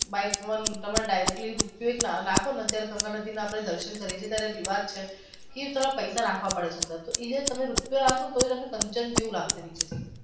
like one તમે directly રૂપિયો નાખો ને ત્યારે ગંગા નદી ના દર્શન કરીયે છીએ ત્યારે રિવાજ છે તમારે પૈસા નાખવા પડે છે અંદર તો એ રૂપિયો નાખો ને તોઈ તમને કંચન જેવું લાગશે.